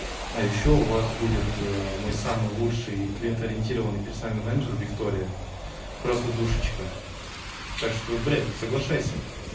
а ещё у вас будет мой самый лучший клиент ориентированный персональный менеджер виктория просто душечка так что блядь соглашайся